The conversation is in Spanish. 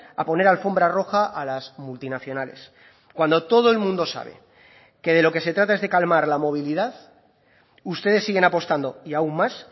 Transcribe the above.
a poner alfombra roja a las multinacionales cuando todo el mundo sabe que de lo que se trata es de calmar la movilidad ustedes siguen apostando y aún más